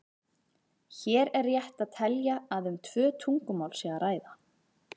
Hér er rétt að telja að um tvö tungumál sé að ræða.